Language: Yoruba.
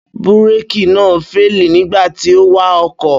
Búrékì náà féèlì nígbà tí ó wa ọkọ̀